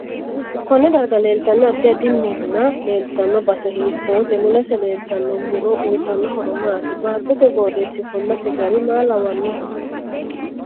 Konne darga leeltanno addi addi minna leeltanno base hiitoote mulese leeltanno muro uyiitanno horo maati baatote qooxeesi ofolasi gari maa lawanohe